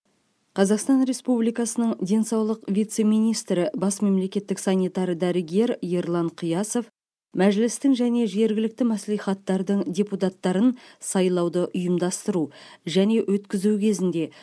қазақстан республикасының денсаулық вице министрі бас мемлекеттік санитар дәрігер ерлан қиясов мәжілістің және жергілікті мәслихаттардың депутаттарын сайлауды ұйымдастыру және өткізу кезінде